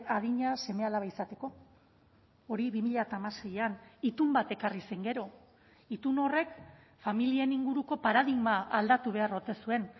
adina seme alaba izateko hori bi mila hamaseian itun bat ekarri zen gero itun horrek familien inguruko paradigma aldatu behar ote zuen